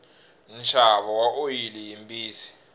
nxavo wa oyili yimbisi